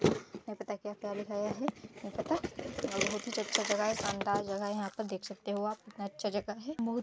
नइ पता क्या - क्या लिखाया है नइ पता और बहुत ही अच्छा जगह है शानदार जगह है यहाँ पर देख सकते हो आप कितना अच्छा जगह है बहुत --